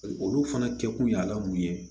Olu fana kɛkun y'a la mun ye